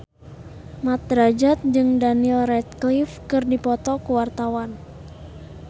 Mat Drajat jeung Daniel Radcliffe keur dipoto ku wartawan